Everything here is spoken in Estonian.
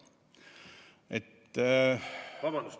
Vabandust!